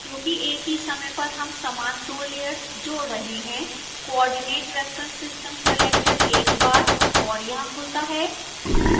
क्योंकि एक ही समय पर हम समान दो लेयर्स जोड़ रहे हैं coordinate reference system selector एक बार और यहां खुलता है